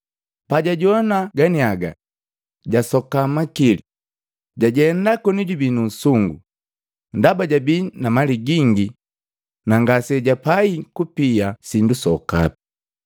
Pajajowana ganiaga, jasoka makili, jajenda koni jubii nu usungu, ndaba jabii na mali gingi na ngasijapai kupia sindu sokapi.